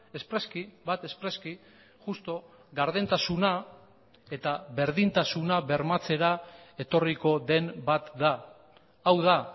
espreski bat espreski justu gardentasuna eta berdintasuna bermatzera etorriko den bat da hau da